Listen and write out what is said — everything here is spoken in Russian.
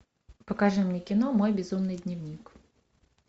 покажи мне кино мой безумный дневник